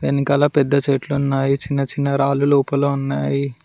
ఎనికల పెద్ద చెట్లున్నాయి చిన్నచిన్న రాళ్లు లోపల ఉన్నావి.